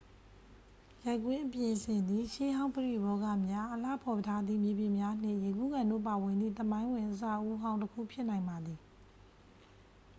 ရိုက်ကွင်းအပြင်အဆင်သည် ရှေးဟောင်းပရိဘောဂများ အလှဖော်ထားသည့် မြေပြင်များနှင့် ရေကူးကန်တို့ပါဝင်သည့် သမိုင်းဝင်အဆောက်အဦးဟောင်းတစ်ခုဖြစ်နိုင်ပါသည်